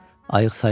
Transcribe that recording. Ayıq sayığı olun.